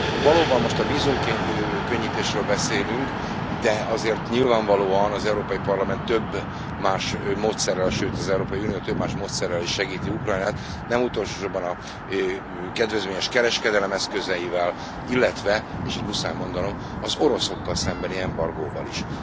Valóban most a vízumkönnyítésről beszélünk, de azért nyilvánvalóan az Európai Parlament több más módszerrel, sőt az Európai Unió több más módszerrel is segíti Ukrajnát, nem utolsósorban a kedvezményes kereskedelem eszközeivel, illetve és itt muszáj mondanom az oroszokkal szembeni embargóval is.